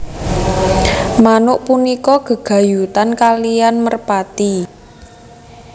Manuk punika gègayutan kaliyan merpati